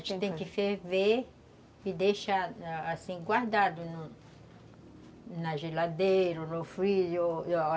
A gente tem que ferver e deixar assim guardado no na geladeira ou no freezer